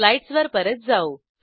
slides वर परत जाऊ